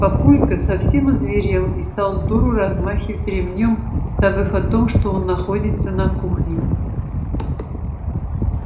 папулька совсем озверел и стал сдуру размахивать ремнём забыв о том что он находится на кухне